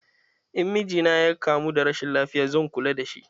In miji na ya kamu da rashin lafiya zan kulla da shi.